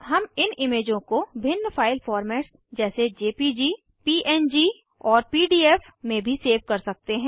हम इन इमेजों को भिन्न फाइल फोर्मट्स जैसे जेपीजी पंग और पीडीएफ में भी सेव कर सकते हैं